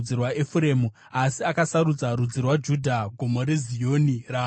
asi akasarudza rudzi rwaJudha, Gomo reZioni, raakada.